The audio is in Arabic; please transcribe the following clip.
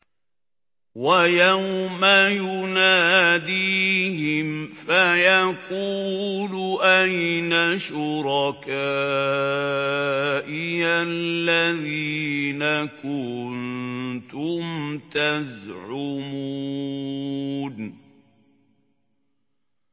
وَيَوْمَ يُنَادِيهِمْ فَيَقُولُ أَيْنَ شُرَكَائِيَ الَّذِينَ كُنتُمْ تَزْعُمُونَ